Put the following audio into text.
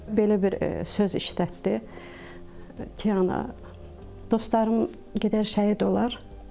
Belə bir söz işlətdi ki, ana, dostlarım gedər şəhid olar.